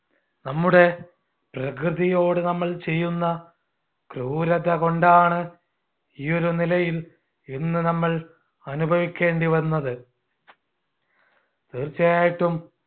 നമ്മുടെ പ്രകൃതിയോട് നമ്മൾ ചെയ്യുന്ന ക്രൂരതകൊണ്ടാണ് ഈ ഒരു നിലയിൽ ഇന്ന് നമ്മൾ അനുഭവിക്കേണ്ടിവന്നത്. തീർച്ചയായിട്ടും